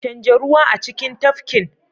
Canja ruwa a cikin tafkin.